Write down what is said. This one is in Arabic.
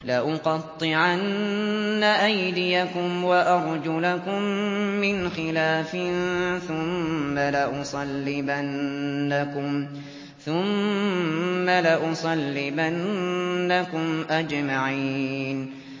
لَأُقَطِّعَنَّ أَيْدِيَكُمْ وَأَرْجُلَكُم مِّنْ خِلَافٍ ثُمَّ لَأُصَلِّبَنَّكُمْ أَجْمَعِينَ